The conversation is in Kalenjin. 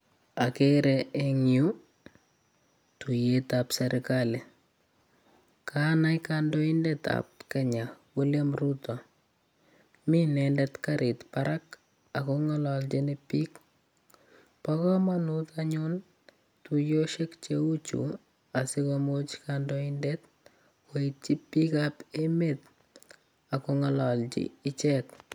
Agere eng yu tuyetab sergali. Kanai kandoindetab Kenya, William Rutto. Mi inendet karit barak ago ngalalchini biik. Bo kamanut anyun tuyosiek cheu chu asigomuch kandoindet koityi biikab emet ak kongalalji ichek.